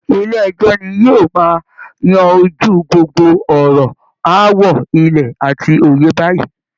Ilé ẹjọ́ ni yóò máa yanjú gbogbo ọ̀rọ̀ aáwọ ilẹ̀ àti oyè báyìí